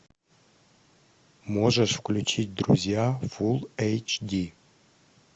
можешь включить друзья фул эйч ди